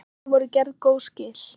Henni voru gerð góð skil.